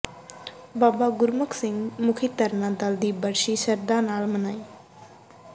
ਬਾਬਾ ਗੁਰਮੁਖ ਸਿੰਘ ਮੁਖੀ ਤਰਨਾ ਦਲ ਦੀ ਬਰਸੀ ਸ਼ਰਧਾ ਨਾਲ ਮਨਾਈ